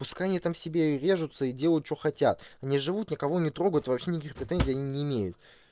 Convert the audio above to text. пускай они там себе режутся и делают что хотят они живут никого не трогают и вообще никаких претензий они не имеют